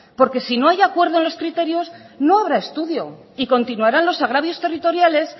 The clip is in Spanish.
porque si no hay acuerdo en los criterios no habrá estudio y continuarán los agravios territoriales